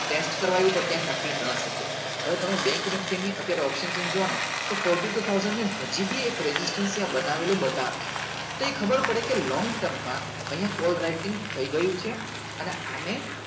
test કરાવ્યું પણ ત્યાં ટકી નાં સક્યો હવે તમે bank nifty ની અત્યારે option seen જોવો ને તો fourty too thousand ને હજી બી એક ragistrastion ત્યાં બનાવેલું બતાવે તો એ ખબર પડે કે long term માં અહિયાં call writing થઇ ગયું છે અને આને